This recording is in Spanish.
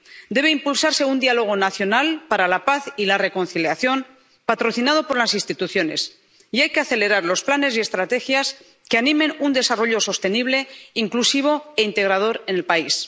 Debe impulsarse un diálogo nacional para la paz y la reconciliación patrocinado por las instituciones y hay que acelerar los planes y estrategias que animen un desarrollo sostenible, inclusivo e integrador en el país.